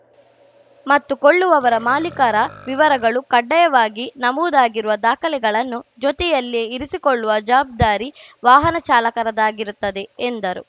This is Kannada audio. ಮತ್ತು ಕೊಳ್ಳುವವರ ಮಾಲೀಕರ ವಿವರಗಳು ಕಡ್ಡಾಯವಾಗಿ ನಮೂದಾಗಿರುವ ದಾಖಲೆಗಳನ್ನು ಜೊತೆಯಲ್ಲಿಯೇ ಇರಿಸಿಕೊಳ್ಳುವ ಜವಾಬ್ದಾರಿ ವಾಹನ ಚಾಲಕರದಾಗಿರುತ್ತದೆ ಎಂದರು